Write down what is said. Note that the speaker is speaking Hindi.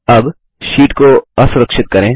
अब शीट को असुरक्षित करें